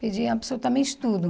Perdi absolutamente tudo.